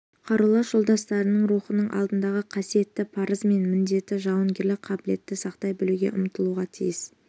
қарулас жолдастарының рухының алдындағы қасиетті парызы мен міндеті жауынгерлік қабілетті сақтай білуге ұмтылуға тиіс